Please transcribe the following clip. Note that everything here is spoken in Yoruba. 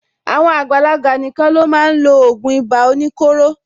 Àwọn àgbàlagbà nìkan ló máa n lo ògùn ibà oníkóro.